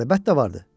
Əlbəttə vardır.